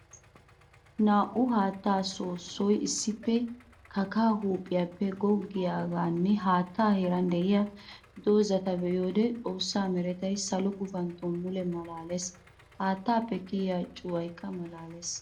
Naa'u haatta soossoy issippe kakka huuphiyappe goggiyanne haatta heeran de'iya doozatta be'iyoode xoosa merettay salo gufantto mule malaales. Haattappe kiyiya cuwaykka malaales.